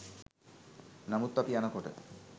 නමුත් අපි යන කොට